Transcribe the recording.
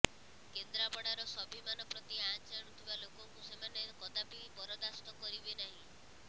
କେନ୍ଦ୍ରାପଡ଼ାର ସ୍ୱାଭିମାନ ପ୍ରତି ଆଞ୍ଚ ଆଣୁଥିବା ଲୋକଙ୍କୁ ସେମାନେ କଦାପି ବରଦାସ୍ତ କରିବେ ନାହଁ